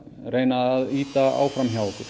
reyna að ýta áfram hjá okkur